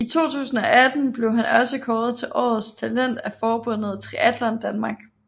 I 2018 blev han også kåret til årets talent af forbundet Triatlon Danmark